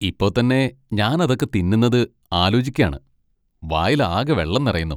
ഇപ്പൊ തന്നെ ഞാനതൊക്കെ തിന്നുന്നത് ആലോയ്ക്കാണ്, വായിലാകെ വെള്ളം നിറയുന്നു.